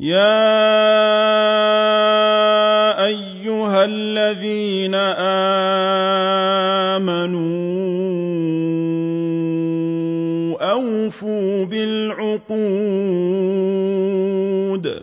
يَا أَيُّهَا الَّذِينَ آمَنُوا أَوْفُوا بِالْعُقُودِ ۚ